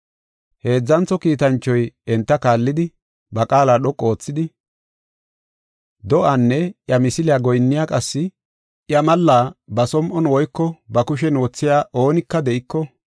Heedzantho kiitanchoy enta kaallidi, ba qaala dhoqu oothidi, “Do7aanne iya misiliya goyinniya qassi iya malla ba som7on woyko ba kushen wothiya oonika de7iko,